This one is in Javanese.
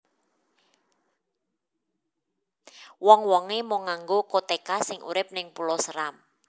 Wong wonge mung nganggo koteka sing urip ning Pulau Seram